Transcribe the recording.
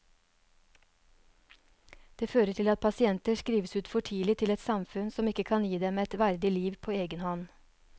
Det fører til at pasienter skrives ut for tidlig til et samfunn som ikke kan gi dem et verdig liv på egen hånd.